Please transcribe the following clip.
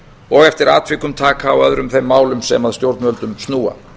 og eftir atvikum taka á öðrum þeim málum sem að stjórnvöldum snúa